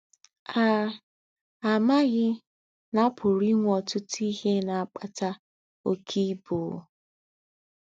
à àmāghī nà à pūrū ìnwē ọ̀tūtū íhē nà-àkpàtà ókē íbū